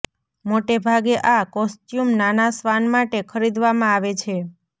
મોટે ભાગે આ કોસ્ચ્યુમ નાના શ્વાન માટે ખરીદવામાં આવે છે